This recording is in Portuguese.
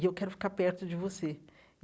E eu quero ficar perto de você.